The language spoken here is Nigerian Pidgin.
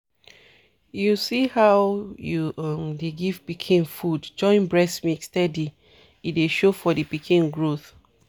you see how u um dey give pikin food join breast milk steady e dey show for the pikin growth.